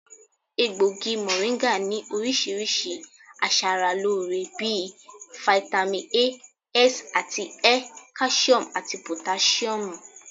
Egbògi mọ̀ríńgà ní oríṣiríṣi aṣaralóore bí i fitami A, S àti Ẹ, káṣíọ̀mù àti pòtáṣíọ̀mù